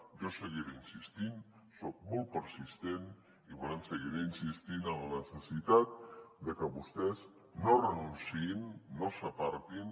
jo hi seguiré insistint soc molt persistent i per tant seguiré insistint en la necessitat de que vostès no renunciïn no s’apartin